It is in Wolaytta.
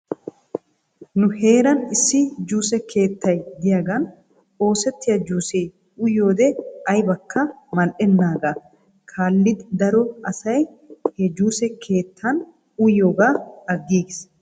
Nu heeran issi juuse keettay diyaagan oosettiyaa juusee uyiyoode aybakka mal''enaagaa kaallidi daro asay he juuse keettan uyiyoogaa aggiigis .